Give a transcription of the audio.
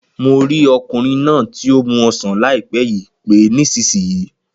Mo rí ọkùnrin náà tí o mu ọsán láìpé yìí pé nísìsiyìí